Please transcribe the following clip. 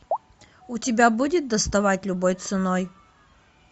у тебя будет доставать любой ценой